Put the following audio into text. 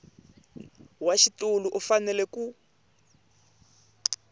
wa xitulu u fanele ku